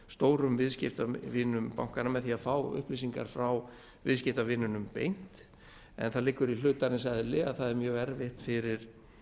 stórum viðskiptavinum bankanna með því að fá upplýsingar frá viðskiptavinunum beint en það liggur í hlutarins eðli að það er mjög erfitt fyrir